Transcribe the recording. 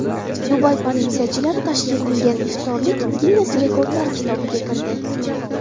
Dubay politsiyachilari tashkil qilgan iftorlik Ginness rekordlari kitobiga kirdi.